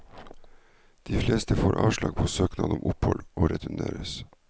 De fleste får avslag på søknad om opphold, og returneres.